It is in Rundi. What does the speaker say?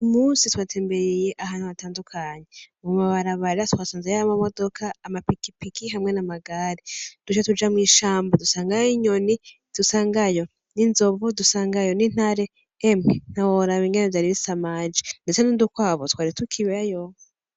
Uyu musi twatembereye ahantu hatandukanye, mu mabarabara twasanzeyo amamodoka, amapikipiki, hamwe n'amagari, duca tuja mw'ishamba dusangayo inyoni, dusangayo n'inzovu, dusangayo n'intare, emwe ntiworaba ingene vyari bisamaje, ndetse n'udukwavu twari tukibayo.